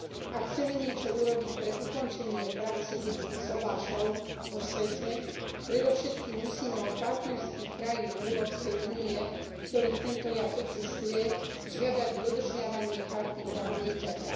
Ak chceme niečo urobiť pre ukončenie praxe detských sobášov vo svete, predovšetkým musíme od partnerských krajín Európskej únie, v ktorých tento jav existuje, žiadať dodržiavanie Charty práv dieťaťa.